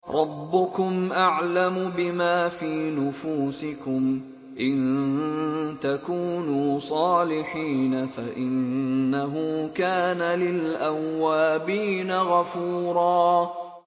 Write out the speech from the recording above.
رَّبُّكُمْ أَعْلَمُ بِمَا فِي نُفُوسِكُمْ ۚ إِن تَكُونُوا صَالِحِينَ فَإِنَّهُ كَانَ لِلْأَوَّابِينَ غَفُورًا